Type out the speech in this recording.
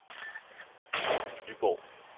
Iben Nyborg